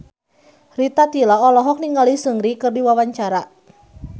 Rita Tila olohok ningali Seungri keur diwawancara